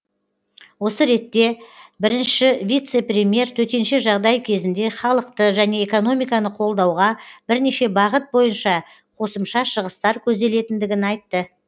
осы ретте бірінші вице премьер төтенше жағдай кезінде халықты және экономиканы қолдауға бірнеше бағыт бойынша қосымша шығыстар көзделетіндігін айтты